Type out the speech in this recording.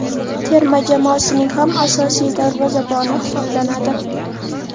terma jamoasining ham asosiy darvozaboni hisoblanadi.